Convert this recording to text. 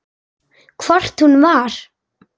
Hvort hún var!